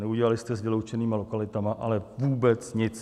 Neudělali jste s vyloučenými lokalitami ale vůbec nic.